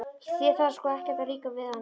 Þér þarf sko ekkert að líka við hana.